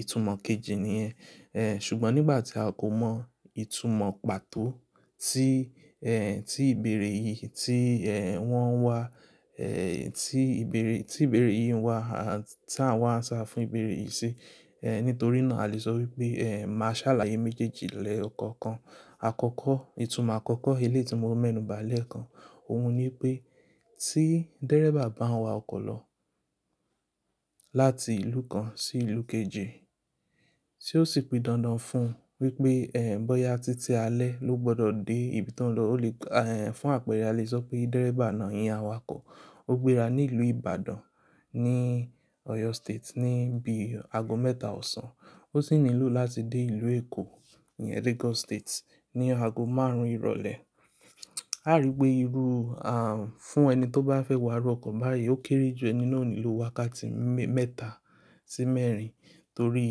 Ìtumọ̀ kejì ni ẹ. Èè, ṣùgbọ́n nígbà tí a kò mọ ìtumọ̀ pàtó tí, èè, tí ìbéèrè yìí tí, èè, wọ́n ń wà, èè, tí ìbéèrè, tí ìbéèrè yìí ń wà, a, tí àwa ń ṣà fún ìbéèrè yìí ṣe. Èè, nítorí náà a lè sọ wípé, èè, màá ṣàlàyé méjèèjì lẹ́ẹ̀ ọkọ̀ kan. Àkọ́kọ́, ìtumọ̀ àkọ́kọ́ eléyi tí mo mẹ́nu bàálẹ̀ kan, òun ni wípé tí dẹ́rẹ́bà bá ń wa ọkọ̀ lọ láti ìlú kan sí ìlú kejì, tí ó sì pidán dán fún un wípé, èè, bóyá títí alẹ́ ló gbọdọ̀ dé ibi tó ń lọ, ó lè, èè, fún àpẹrẹ a lè sọ pé dẹ́rẹ́bà náà íyẹ́n awakọ̀. Ó gbéra ní ìlú Ìbàdàn ní Oyo State ní bí i ago mẹ́ta ọ̀sán. Ó sì nílò láti dé ìlú Èkó ní Lagos State ní ago márùn-ún ìrọ̀lẹ́. A rí pé irú, à, fún ẹni tó bá fẹ́ wá rú ọkọ̀ báyìí ó kéré ju ẹni náà nílò wákàtí mẹ́ẹ̀ta sí mẹ́rin torí,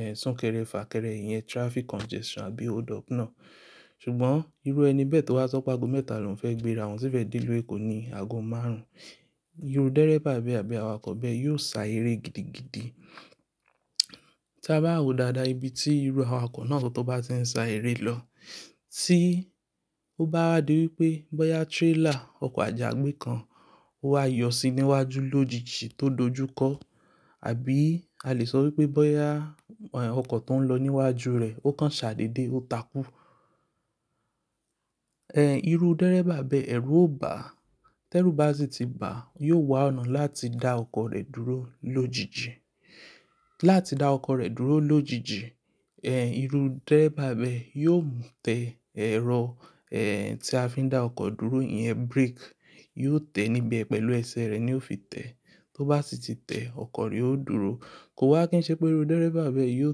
èè, súnkẹrẹ fà kẹrẹ ìyẹn, traffic congestion àbí hold up náà. Ṣùgbọ́n irú ẹni bẹ́ẹ̀ tó bá sọ pé ago mẹ́ta lòún fẹ́ gbéra wọ́n sì fẹ́ dé ìlú Èkó ní ago márùn-ún. Iru dẹ́rẹ́bà bẹ́ẹ̀ àbí awakọ̀ bẹ́ẹ̀ yóò sá eré gidigidi. Tí a bá wo dáadáa ibi tí irú awakọ̀ náà tó bá ṣe ń sá eré lọ. Tí ó bá wádìí wípé bóyá trailer, ọkọ̀ àjàgbé kan ó wá yọ̀ síi níwájú lójijì tó dojúkọ. Àbí a lè sọ wípé bóyá, èè, ọkọ̀ tó ń lọ níwájú rẹ̀ ó kan ṣàdédé, ó takú. Ẹ̀, irú dẹ́rẹ́bà bẹ́ẹ̀, ẹ̀rù ó bá. Tẹ́lù bá sì ti ba, yóò wá ọ̀nà láti dá ọkọ̀ rẹ̀ dúró lójijì. Láti dá ọkọ̀ rẹ̀ dúró lójijì, èè, irú dẹ́rẹ́bà bẹ́ẹ̀ yóò tẹ ẹ̀rọ, èè, tí a fi ń dá ọkọ̀ dúró iyẹn brake. Yóò tẹ níbẹ̀ pẹ̀lú ẹsẹ̀ rẹ̀ ni ó fi tẹ. Tó bá sì ti tẹ ọkọ̀ rí ó dúró. Kò wá kí n ṣe pé irú dẹ́rẹ́bà bẹ́ẹ̀ yóò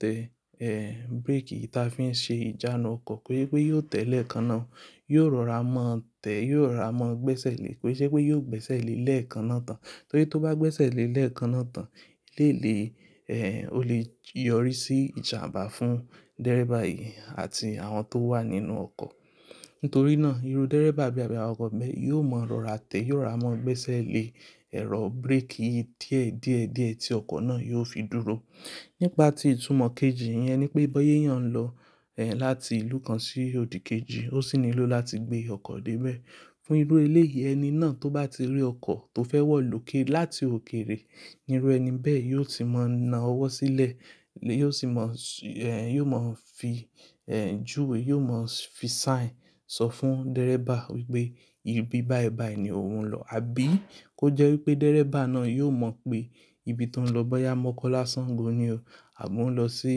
tẹ, èè, brake yìí tí a fi ń ṣe ìjánu ọkọ̀. Pé pé yóò tẹ lẹ́ẹ̀kan náà, yóò rọra mọ́ tẹ́, yóò rọra mo gbẹ́sẹ̀ lé e pé ṣé pé yóò gbẹ́sẹ̀ lé e lẹ́ẹ̀kan náà tán. Torí tó bá gbẹ́sẹ̀ lé e lẹ́ẹ̀kan náà tán, lééléè, èè, ó lè yọrí sí ìjàmbá fún dẹ́rẹ́bà yìí àti àwọn tó wà nínú ọkọ̀. Nítorí náà irú dẹ́rẹ́bà bẹ́ẹ̀ àbí awakọ̀ bẹ́ẹ̀ yóò mọ rọra tẹ́, yóò rọra mo gbẹ́sẹ̀ lé ẹ̀rọ brake yìí díẹ̀ díẹ̀ díẹ̀ tí ọkọ̀ náà yóò fi dúró. Nípa tí ìtumọ̀ kejì yẹn ni pé bóyé èèyàn ń lọ, èè, láti ìlú kan sí òdì kejì ó sì nílò láti gbé ọkọ̀ dé ibẹ̀. Fún irú eléyi ẹni náà tó bá ti rí ọkọ̀ tó fẹ́ wọ̀ lókè láti òkèrè, irú ẹni bẹ́ẹ̀ yóò sì mọ na ọwọ́ sílẹ̀. Yóò sì mọ, èè, yóò mọ̀ fi, èè, juwe, yóò mọ̀ fi sign sọ fún dẹ́rẹ́bà wípé ibi bái bái ni òun ń lọ. Àbí kó jẹ́ wípé dẹ́rẹ́bà náà yóò mọ̀ pé ibi tó ń lọ, bóyá mọ́kọ́lá ṣàngó ni o àbo ń lọ sí,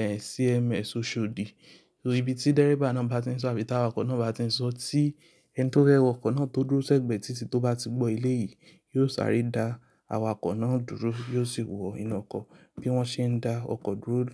èè, CMS oṣòdì. Ibi tí dẹ́rẹ́bà náà bá ti ń sọ, àbí tí awakọ̀ náà bá ti ń sọ tí ẹni tó rẹ́wọ̀ ọkọ̀ náà tó dúró sẹ́gbẹ̀ẹ́ títí tó bá ti gbọ́ ilé yìí, yóò sáré dá awakọ̀ náà dúró, yóò sì wọ inú ọkọ̀ bí wọ́n ṣe ń dá ọkọ̀ dúró lù.